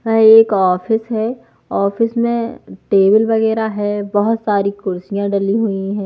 ये एक ऑफिस है ऑफिस में टेबल वगैरह है बहुत सारी कुर्सियां डली हुई है।